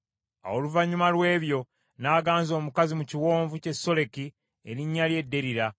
Awo oluvannyuma lw’ebyo n’aganza omukazi mu kiwonvu ky’e Soleki, erinnya lye Derira.